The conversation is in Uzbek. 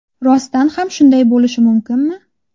Rostdan ham shunday bo‘lishi mumkinmi?